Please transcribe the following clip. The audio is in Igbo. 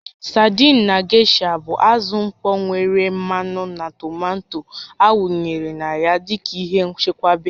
Sadiin na gesha bụ azụ mkpọ nwere mmanụ na tomato awụnyere na ya dị ka ihe nchekwa